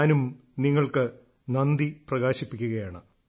ഞാനും നിങ്ങൾക്ക് നന്ദി പ്രകാശിപ്പിക്കുകയാണ്